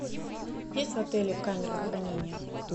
есть в отеле камера хранения